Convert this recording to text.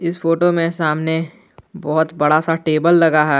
इस फोटो में सामने बहुत बड़ा सा टेबल लगा है।